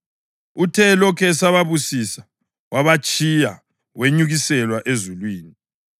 Uthe elokhu esababusisa, wabatshiya, wenyukiselwa ezulwini.